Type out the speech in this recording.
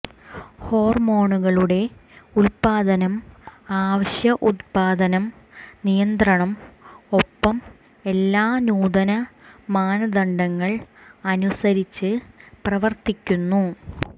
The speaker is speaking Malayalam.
ഹോർമോണുകളുടെ ഉത്പാദനം അവശ്യ ഉത്പാദനം നിയന്ത്രണം ഒപ്പം എല്ലാ നൂതന മാനദണ്ഡങ്ങൾ അനുസരിച്ച് പ്രവർത്തിക്കുന്നു